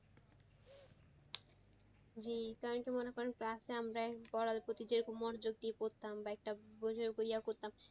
জি তাইতো মনে করেন last এ আমরা পড়ার প্রতি যেরকম মনোযোগ দিয়ে পড়তাম বা একটা করতাম,